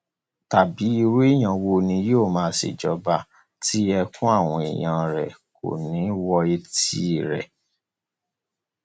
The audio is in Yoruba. tàbí irú èèyàn wo ni yóò máa ṣèjọba tí ẹkún àwọn èèyàn rẹ kò ní í wo etí rẹ